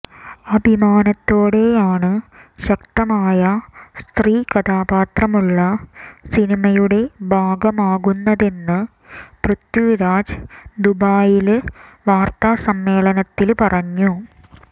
അഭിമാനത്തോടെയാണ് ശക്തമായ സ്ത്രീകഥാപാത്രമുള്ള സിനിമയുടെ ഭാഗമാകുന്നതെന്ന് പൃഥ്വിരാജ് ദുബൈയില് വാര്ത്താസമ്മേളനത്തില് പറഞ്ഞു